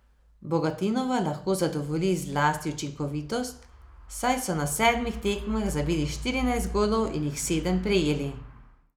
Bogatinova lahko zadovolji zlasti učinkovitost, saj so na sedmih tekmah zabili štirinajst golov in jih sedem prejeli.